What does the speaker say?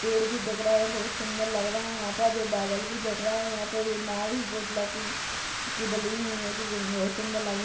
पेड़ भी दिख रहे है बोहोत सुंदर लग रहे है यहाँ पर जो बादल भी दिख रहे है यहाँ पे ये नाव भी बोहोत की डली हुई है कि बहुत सूंदर लगी --